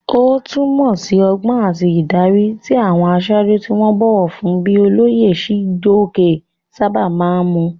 Ó túmọ̀ sí ọgbọ́n àti ìdarí, tí àwọn aṣáájú tí wọ́n bọ̀wọ̀ fún bíi olóyè Chijioke sábà máa ń mú.